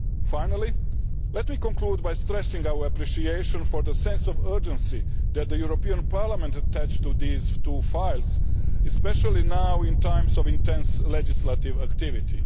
Finally, let me conclude by stressing our appreciation for the sense of urgency that the European Parliament attached to these two files, especially now, in times of intense legislative activity.